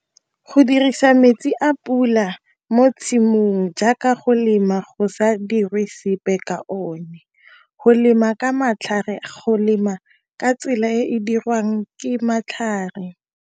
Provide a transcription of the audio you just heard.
Go dirisa metsi a pula mo tshimong jaaka go lema go sa dirwe sepe ka o ne, go lema ka matlhare, go lema ka tsela e dirwang ke matlhare.